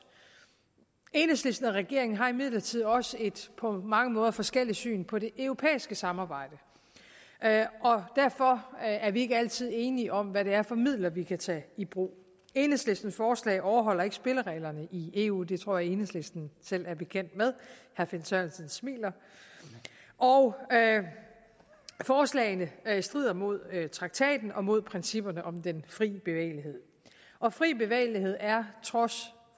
enhedslisten og regeringen har imidlertid også et på mange måder forskelligt syn på det europæiske samarbejde og derfor er vi ikke altid enige om hvad det er for midler vi kan tage i brug enhedslistens forslag overholder ikke spillereglerne i eu det tror jeg enhedslisten selv er bekendt med herre finn sørensen smiler og forslagene strider mod traktaten og mod principperne om den fri bevægelighed og fri bevægelighed er trods